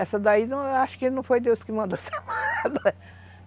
Essa daí, eu acho que não foi Deus que mandou ser amada.